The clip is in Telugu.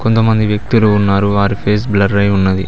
కొంతమంది వ్యక్తులు ఉన్నారు వారి ఫేస్ బ్లర్ అయ్యి ఉన్నది.